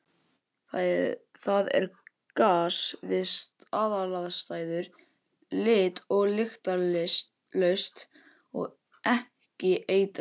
Það er gas við staðalaðstæður, lit- og lyktarlaust og ekki eitrað.